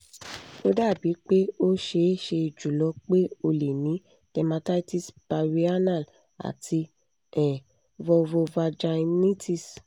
o dabi pe o ṣee ṣe julọ pe o le ni dermatitis perianal ati um vulvovaginitis